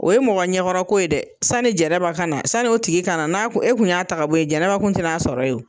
O ye mɔgɔ ɲɛkɔrɔ ko ye dɛ. Sani Jɛnɛba ka na, sani o tigi ka na n'a ku e kun y'a ta ka bɔ ye Jɛnɛba tun tɛn'a sɔrɔ ye o.